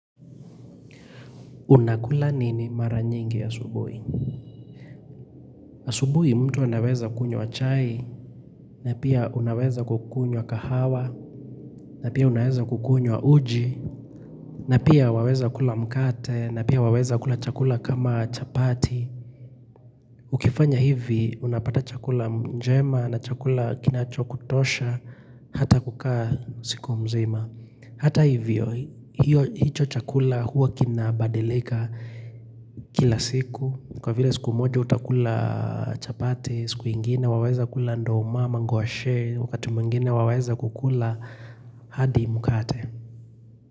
Unakula nini mara nyingi asubuhi? Asubuhi mtu anaweza kunywa chai, na pia unaweza kukunywa kahawa, na pia unaweza kukunywa uji, na pia waweza kula mkate, na pia waweza kula chakula kama chapati. Ukifanya hivi, unapata chakula njema na chakula kinacho kutosha, hata kukaa siku mzima. Hata hivyo, hicho chakula huwa kinabadilika kila siku Kwa vile siku moja utakula chapati, siku ingine, waweza kula ndo umama, ngwashi wakati mwingine, waweza kukula hadi mukate.